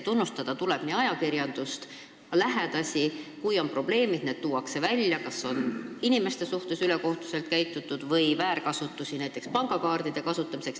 Tunnustada tuleb ajakirjandust ja ka lähedasi: kui on probleemid, siis need tuuakse esile, ükskõik kas on inimeste suhtes ülekohtuselt käitutud või esineb pangakaartide väärkasutamist.